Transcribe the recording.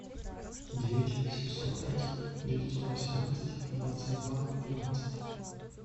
девять семьсот пять девятьсот восемнадцать двадцать два двенадцать